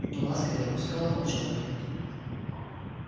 но ласка не отпускала волчонка